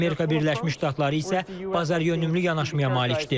Amerika Birləşmiş Ştatları isə bazaryönümlü yanaşmaya malikdir.